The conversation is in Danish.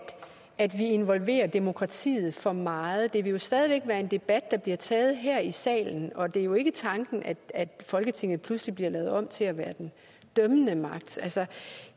at vi involverer demokratiet for meget det vil jo stadig væk være en debat der bliver taget her i salen og det er jo ikke tanken at at folketinget pludselig bliver lavet om til at være den dømmende magt altså